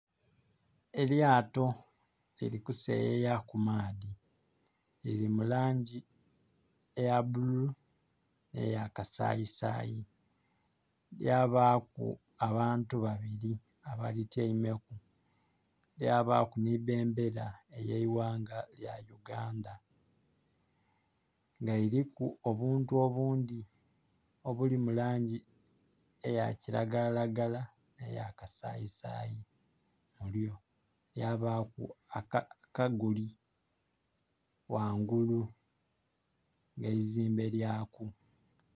Elyato liri kuseyeya ku maadhi, liri mu langi eya bululu, n'eyakasayisayi, lyabaaku abantu babiri abalityaimeku, lyabaku ni bendera ey'eighanga lya Uganda. Nga liriku obuntu obundhi obuli mu langi eya kilagalalagala, ne ya kasayisayi. Lyabaaku akaguli ghangulu eizimbe lyaku.